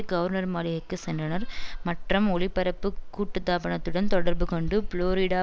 governor மாளிகைக்கு சென்றனர் மற்றம் ஒளிபரப்பு கூட்டுத்தாபனத்துடன் தொடர்புகொண்டு புளோரிடா